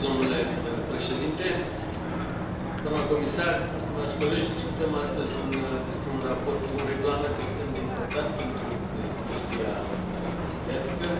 Domnule președinte, doamna comisar, stimați colegi, discutăm astăzi despre un regulament extrem de important pentru industria aviatică,